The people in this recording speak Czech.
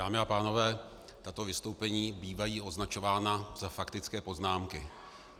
Dámy a pánové, tato vystoupení bývají označována za faktické poznámky.